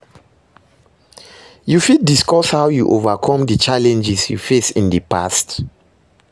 You fit discuss how you overcome di challenges you face in di past?